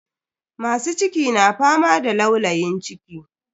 Masu ciki na fama da laulayin ciki.